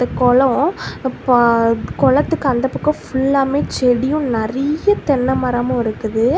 இது கொலொ. குளத்துக்கு அந்தப் பக்கொ ஃபுல்லாமே செடியும் நிறைய தென்னை மரமு இருக்குது.